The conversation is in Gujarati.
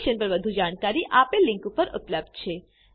આ મિશન પર વધુ જાણકારી આપેલ લીંક પર ઉપબ્ધ છે